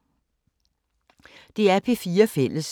DR P4 Fælles